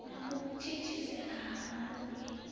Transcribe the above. na u thithisea ha maluvhi